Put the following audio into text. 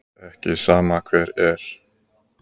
Það er ekki sama hver er.